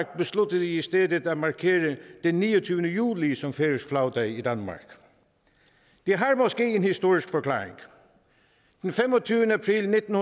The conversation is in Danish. besluttede i stedet at markere den niogtyvende juli som færøsk flagdag i danmark det har måske en historisk forklaring den femogtyvende april nitten